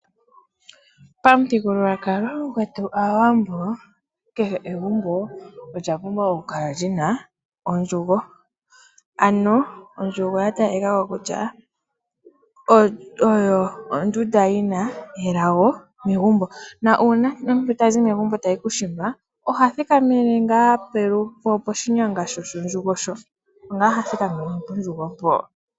Pamuthigululwakalo gwetu Aawambo kehe egumbo olya pumbwa okukala li na ondjugo, ano ondjugo ya talika ko kutya oyo ondunda yi na elago megumbo. Nuuna omuntu ta zi megumbo ta yi kuushimba oha thikamene ngaa poshinyanga shondjugo, opo ngaa ha thikamene pondjugo mpo.